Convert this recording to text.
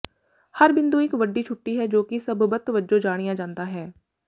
ਹਰ ਬਿੰਦੂ ਇੱਕ ਵੱਡੀ ਛੁੱਟੀ ਹੈ ਜੋ ਕਿ ਸਬੱਬਤ ਵਜੋਂ ਜਾਣਿਆ ਜਾਂਦਾ ਹੈ